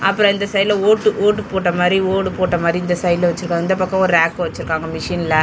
அப்பரோ இந்த சைடுல ஓட்டு ஓட்டு போட்ட மாரி ஓடு போட்ட மாரி இந்த சைடுல வெச்சுருக்காங்க. இந்த பக்கமு ரேக் வெச்சுருக்காங்க மிஷின்ல .